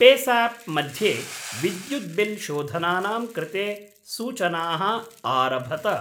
पेसाप् मध्ये विद्युत् बिल् शोधनानां कृते सूचनाः आरभत।